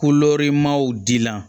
dila